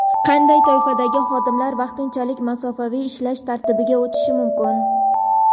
Qanday toifadagi xodimlar vaqtincha masofaviy ishlash tartibiga o‘tishi mumkin?.